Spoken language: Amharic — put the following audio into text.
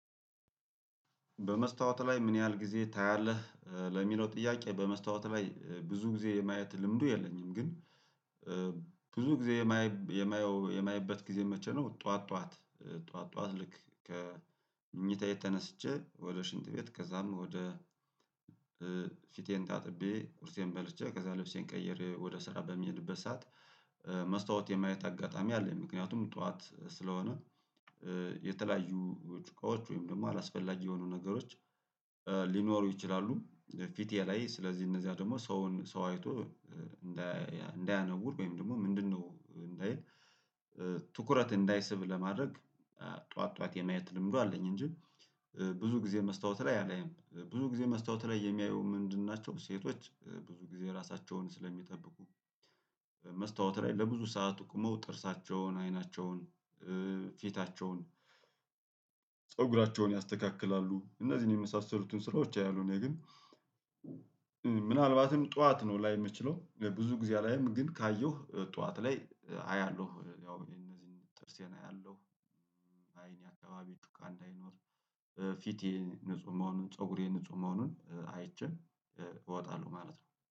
በመስታወት ላይ ምን ያህል ጊዜ ታያለህ ለሚለው ጥያቄ? በመስታወት ላይ ብዙ ጊዜ የማየት ልምዱ የለኝም ግን ብዙ ጊዜ የማየው የማየበት ጊዜ መቼ ነው? ጠዋት ጠዋት ጠዋት ልክ ከምኝታዬ ተነስቼ ወደ ሽንት ቤት ከዛም ወደ ፊቴን ታጥቤ ቁርሴን በልቼ ከዛ ልብሴን ቀየር ወደ ስራ በሚሄድበት ሰዓት መስታወት የማየት አጋጣሚ አለኝ ምክንያቱም ጠዋት ስለሆነ የተለያዩ ችግሮች ወይም ደግሞ አላስፈላጊ የሆኑ ነገሮች ሊኖሩ ይችላሉ። ፊቴ ላይ ስለዚህ እነዚያ ደግሞ ሰውን ሰው አይቶ እንዳያነውር ወይም ደግሞ ምንድነው እንዳይል ትኩረት እንዳይስብ ለማድረግ ጠዋት ጠዋት የማየት ልምዱ አለኝ እንጂ ብዙ ጊዜ መስታወት ላይ አላይም ብዙ ጊዜ መስታወት ላይ የሚያየው ምንድን ናቸው? ሴቶች ብዙ ጊዜ ራሳቸውን ስለሚጠብቁ መስታወት ላይ ለብዙ ሰዓት ቆመው ጥርሳቸውን አይናቸውን ፊታቸውን ፀጉራቸውን ያስተካክላሉ እነዚህን የመሳሰሉትን ስራዎች ያያሉ። እኔ ግን ምናልባትም ጠዋት ነው ላይ የምችለው ብዙ ጊዜ አላይም ግን ካየሁ ጠዋት ላይ አያለሁ ያው የነዚህን ጥርሴን አያለሁ አካባቢ ጩቃ እንዳይኖር ፊቴ ንጹህ መሆኑን ፀጉሬ ንጹህ መሆኑን አይቼ እወጣለሁ ማለት ነው